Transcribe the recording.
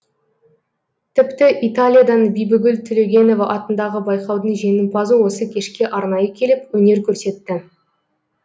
тіпті италиядан бибігүл төлегенова атындағы байқаудың жеңімпазы осы кешке арнайы келіп өнер көрсетті